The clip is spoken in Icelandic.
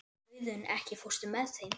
Auðunn, ekki fórstu með þeim?